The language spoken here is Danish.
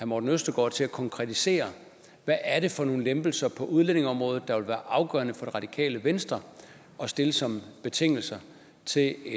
morten østergaard til at konkretisere hvad er det for nogle lempelser på udlændingeområdet der vil være afgørende for det radikale venstre at stille som betingelse til